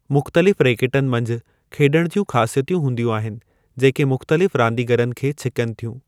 मुख़्तलिफ़ रैकेटनि मंझि खेॾण जूं ख़ासियतूं हूंदियूं आहिनि जेके मुख़्तलिफ़ रांदिगरनि खे छिकनि थियूं।